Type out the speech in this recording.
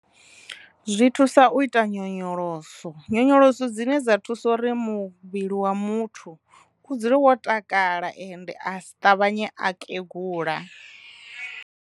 Zwi thusa u ita nyonyoloso, nyonyoloso dzine dza thusa uri muvhili wa muthu u dzule wo takala ende a si ṱavhanye a kegula.